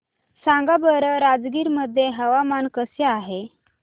सांगा बरं राजगीर मध्ये हवामान कसे आहे